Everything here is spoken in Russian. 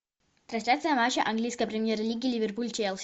трансляция матча английской премьер лиги ливерпуль челси